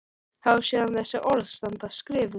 Þá sér hann þessi orð standa skrifuð: